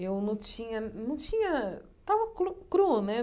Eu não tinha... não tinha... tava clu cru, né?